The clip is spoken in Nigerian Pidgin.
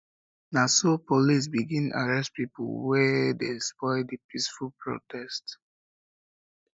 na so police begin arrest pipu wey pipu wey dey spoil di peaceful protest